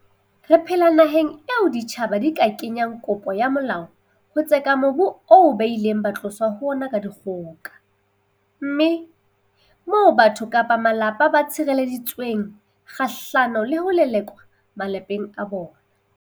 Re phela naheng eo ditjhaba di ka kenyang kopo ya molao ho tseka mobu oo ba ileng ba tloswa ho ona ka dikgoka, mme moo batho kapa malapa ba tshirele-ditsweng kgahlano le ho lelekwa malapeng a bona.